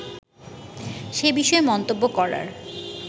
সে বিষয়ে মন্তব্য করার